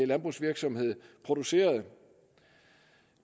landbrugsvirksomhed producerede